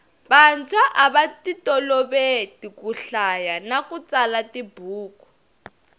vanswa avatitoloveki kuhiaya nakutsala tibhuku